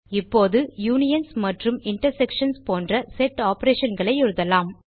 இப்போது யூனியன்ஸ் மற்றும் இன்டர்செக்ஷன்ஸ் போன்ற செட் operationகளை எழுதலாம்